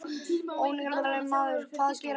Ónafngreindur maður: Hvað gerði mamman?